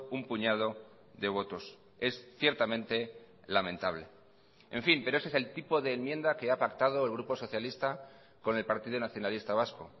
un puñado de votos es ciertamente lamentable en fin pero ese es el tipo de enmienda que ha pactado el grupo socialista con el partido nacionalista vasco